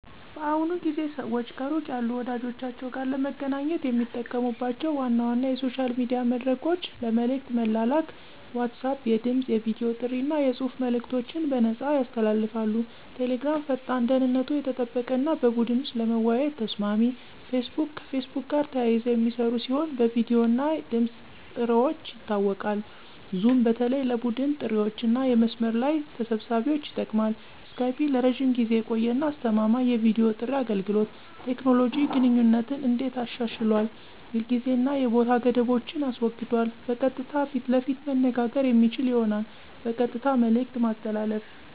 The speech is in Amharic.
በአሁኑ ጊዜ ሰዋች ከሩቅ ያሉ ወዳጀቻችዉ ጋር ለመገናኘት የሚጠቀሙባቸው ዋና ዋና የሶሻል ሚዲያ መድረኮች ለመልእክት መላላክ (messaging Apps) WhatsApp የድምፅ፣ የቨዲ ጥሪ አና የጽሑፍ መልእከቶችን በነፃያሰ ያስተላልፋል። Telegram ፈጣን፣ ደህንነቱ የተጠበቀ አና በቡድን ወሰጥ ለመወያየት ተሰማሚ። Facebook messager ከፌስቡክ ጋር ተያይዘ የሚስራ ሲሆን በቪዲዮ እና ድምፅ ጥርዋች ይታወቃል። zoom በተለይ ለቡድን ጥሪዋችአና የመስመር ለይ ተሰብሳቢዎች ይጠቅማል። skype ለረጅም ጊዜ የቆየ አና አስተማማኝ የቪዲዮ ጥሪ አገልገሎት። ቴኮኖሎጂ ግንኙነትን እንዴት አሻሽሏል የጊዜ አና የቦታ ገደቦችን አስወግዷል በቀጥታ ፈት ለፈት መነጋገር የሚችል ሆኗል። በቀጥታ መልእክት ማስተላለፍ